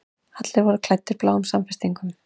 Allir voru klæddir bláum samfestingum.